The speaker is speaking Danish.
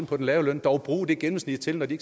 på den lave løn dog bruge det gennemsnit til når de